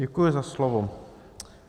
Děkuji za slovo.